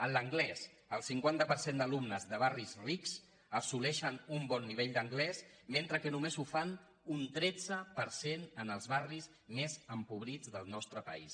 en l’anglès el cinquanta per cent d’alumnes de barris rics assoleixen un bon nivell d’an·glès mentre que només ho fan un tretze per cent en els barris més empobrits del nostre país